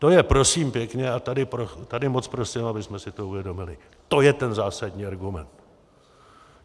To je prosím pěkně, a tady moc prosím, abychom si to uvědomili, to je ten zásadní argument!